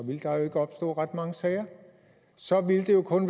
ville der jo ikke opstå ret mange sager så ville det jo kun